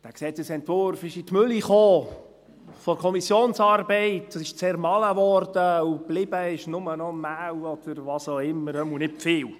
Der Gesetzesentwurf kam in die Mühle der Kommissionsarbeit und wurde zermahlen, und geblieben ist nur noch Mehl – oder was auch immer, zumindest nicht viel.